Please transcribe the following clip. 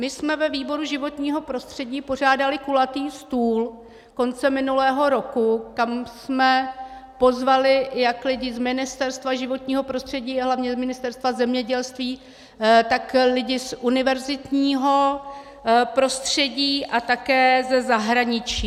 My jsme ve výboru životního prostředí pořádali kulatý stůl koncem minulého roku, kam jsme pozvali jak lidi z Ministerstva životního prostředí a hlavně z Ministerstva zemědělství, tak lidi z univerzitního prostředí a také ze zahraničí.